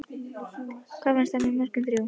Hvað fannst henni um mörkin þrjú?